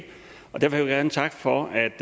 og der vil jeg gerne takke for